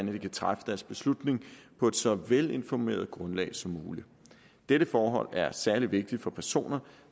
de kan træffe deres beslutning på et så velinformeret grundlag som muligt dette forhold er særlig vigtigt for personer